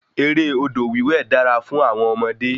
Eré odò wíwẹ̀ dara fún àwọn ọmọdé